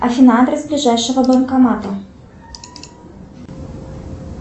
афина адрес ближайшего банкомата